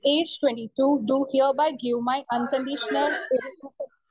speaker 1 each twenty two do hereby unconditional